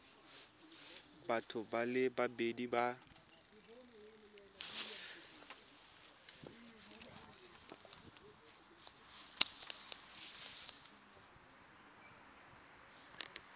batho ba le babedi ba